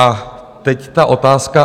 A teď ta otázka.